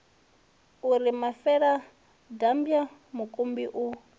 u ri mafeladambwa mukumbi u